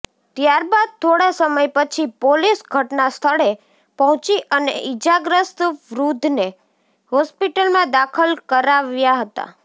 ત્યારબાદ થોડા સમય પછી પોલીસ ઘટનાસ્થળે પહોંચી અને ઇજાગ્રસ્ત વૃદ્ધને હોસ્પિટલમાં દાખલ કરાવ્યા હતા